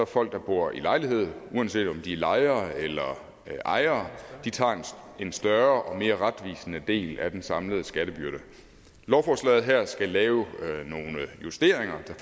folk der bor i lejlighed uanset om de er lejere eller ejere en større og mere retvisende del af den samlede skattebyrde lovforslaget her skal lave nogle justeringer der